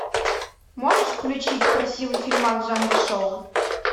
можешь включить красивый фильмас в жанре шоу